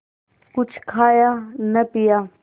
कुछ खाया न पिया